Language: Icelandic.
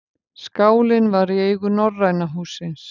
Skálinn var í eigu Norræna hússins